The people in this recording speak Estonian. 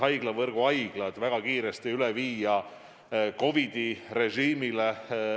Haiglavõrgu haiglad saab väga kiiresti üle viia COVID-i režiimile.